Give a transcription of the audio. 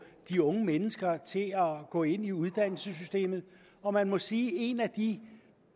de unge mennesker til at gå ind i uddannelsessystemet og man må sige at en af de